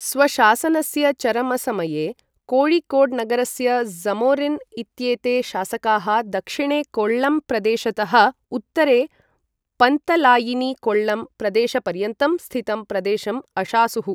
स्वशासनस्य चरमसमये, कोय़िकोड् नगरस्य ज़मोरिन् इत्येते शासकाः दक्षिणे कोळ्ळम् प्रदेशतः उत्तरे पन्तलायिनि कोळ्ळम् प्रदेशपर्यन्तं स्थितं प्रदेशम् अशासुः।